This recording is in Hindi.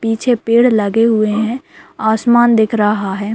पीछे पेड़ लगे हुए है आसमान दिख रहा है।